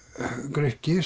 Grikki